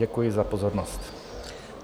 Děkuji za pozornost.